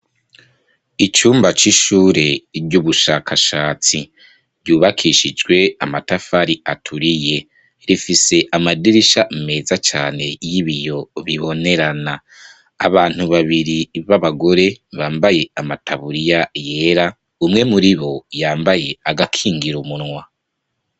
Icumba c`ishuri ry’ubushakashatsi, ryubakishijwe amatafari aturiye rifise amadirisha meza cane y`ibiyo bibonerana abantu babairi baba gore bambaye amataburiya yera umwe muribo yambaye agakingira umunwa.